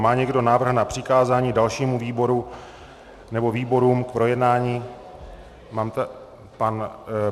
Má někdo návrh na přikázání dalšímu výboru nebo výborům k projednání?